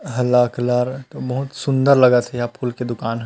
हला कलर बहुत सुन्दर लगत हे इहा फूल के दुकान ह--